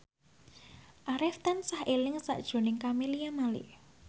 Arif tansah eling sakjroning Camelia Malik